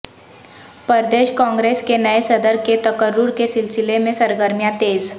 پردیش کانگریس کے نئے صدر کے تقرر کے سلسلہ میں سرگرمیاں تیز